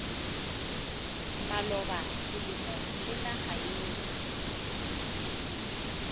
maloba selemo le naga yeo